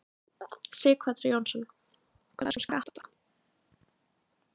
Sighvatur Jónsson: Hvað um skatta?